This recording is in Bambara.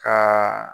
Ka